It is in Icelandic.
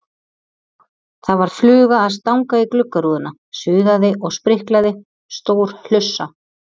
Það var fluga að stanga í gluggarúðuna, suðaði og spriklaði, stór hlussa.